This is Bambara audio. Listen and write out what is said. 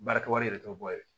Baarakɛ wari yɛrɛ t'o bɔ ye